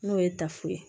N'o ye tafe ye